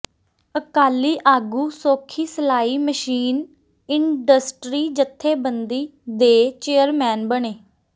ਅਕਾਲੀ ਆਗੂ ਸੋਖੀ ਸਿਲਾਈ machine industry ਜਥੇਬੰਦੀ ਦੇ ਚੇਅਰਮੈਨ ਬਣੇ